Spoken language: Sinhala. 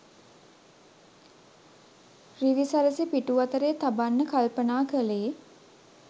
රිවිසරසි පිටු අතරේ තබන්න කල්පනා කළේ